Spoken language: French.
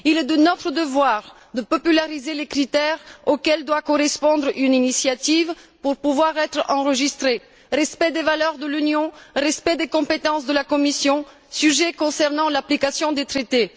Il est de notre devoir de diffuser les critères auxquels doit correspondre une initiative pour pouvoir être enregistrée respect des valeurs de l'Union, respect des compétences de la Commission, sujet concernant l'application des traités.